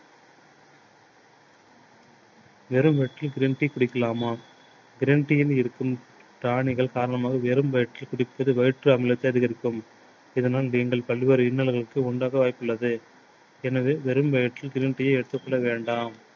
வெறும் green tea குடிக்கலாமா green tea யில் இருக்கும் காரணிகள் காரணமாக வெறும் வயிற்றில் குடிப்பது வயிற்றில் அமிலத்தை அதிகரிக்கும். இதனால் நீங்கள் பல்வேறு இன்னல்களுக்கு உண்டாக வாய்ப்பு உள்ளது. எனவே வெறும் வயிற்றில் green tea எடுத்துக் கொள்ள வேண்டாம்.